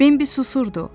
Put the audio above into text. Bembi susurdu.